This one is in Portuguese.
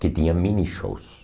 que tinha mini-shows.